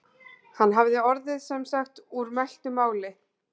Hann hafði orðið sem sagt úr mæltu máli.